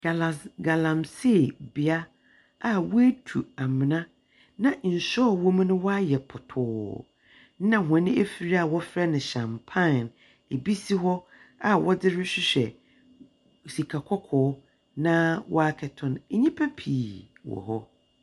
Galas…galamsey bea a woetu amena, na nsu a ɔwɔ mu no wayɛ pɔtaa, na hɔn efir a wɔfrɛ no hyampan bi si hɔ a wɔdze rehwehwɛ sika kɔkɔɔ, na wɔakɛto no. nnipa pii wɔ hɔ.